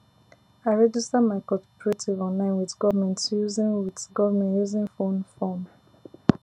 i register my cooperative online with government using with government using phone form